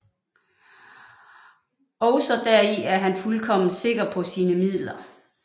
Ogsaa deri er han fuldkommen sikker paa sine Midler